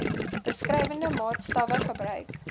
beskrywende maatstawwe gebruik